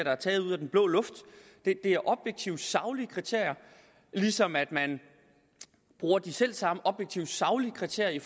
er taget ud af den blå luft det er objektive saglige kriterier ligesom man bruger de selv samme objektive saglige kriterier i